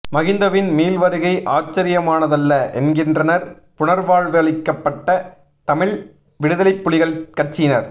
மகிந்தவின் மீள் வருகை ஆச்சரியமானதல்ல என்கின்றனர் புனர்வாழ்வளிக்கப்பட்ட தமிழ் விடுதலைப்புலிகள் கட்சியினர்